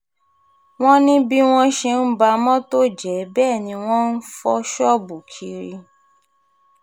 wọ́n ní bí wọ́n ṣe ń ba mọ́tò jẹ́ bẹ́ẹ̀ ni wọ́n ń fọ́ ṣọ́ọ̀bù kiri